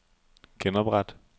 genopret